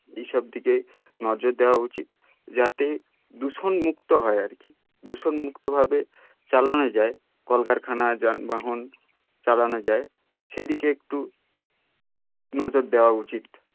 এই সব দিকে নজর দেওয়া উচিত যাতে দূষণ মুক্ত হয় আর কি দূষণ মুক্ত হবে চালানো যায় কলকারখানা যানবাহন চালানো যায় সেদিকে একটু নজর দেওয়া উচিত